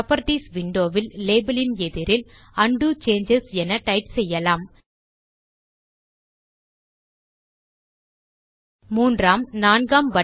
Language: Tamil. புராப்பர்ட்டீஸ் விண்டோ வில் லேபல் இன் எதிரில் உண்டோ சேஞ்சஸ் என டைப் செய்யலாம்